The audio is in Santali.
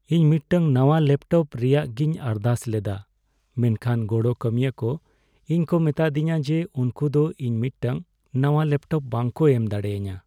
ᱤᱧ ᱢᱤᱫᱴᱟᱝ ᱱᱟᱣᱟ ᱞᱮᱯᱴᱚᱯ ᱨᱮᱭᱟᱜᱤᱧ ᱟᱨᱫᱟᱥ ᱞᱮᱫᱟ ᱢᱮᱱᱠᱷᱟᱱ ᱜᱚᱲᱚ ᱠᱟᱹᱢᱤᱭᱟᱹ ᱠᱚ ᱤᱧ ᱠᱚ ᱢᱮᱛᱟᱫᱤᱧᱟ ᱡᱮ ᱩᱝᱠᱩ ᱫᱚ ᱤᱧ ᱢᱤᱫᱴᱟᱝ ᱱᱟᱣᱟ ᱞᱮᱯᱴᱚᱯ ᱵᱟᱝ ᱠᱚ ᱮᱢ ᱫᱟᱲᱮᱭᱟᱹᱧᱟ ᱾